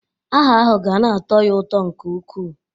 Aha ahụ ga na-atọ ya ụtọ nke ukwuu.